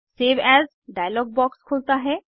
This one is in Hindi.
सेव एएस डायलॉग बॉक्स खुलता है